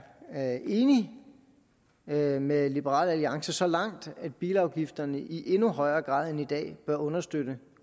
er enig med med liberal alliance så langt at bilafgifterne i endnu højere grad end i dag bør understøtte